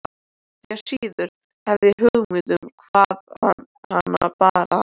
Því síður hafði ég hugmynd um hvaðan hana bar að.